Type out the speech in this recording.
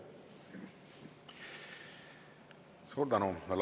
Suur tänu!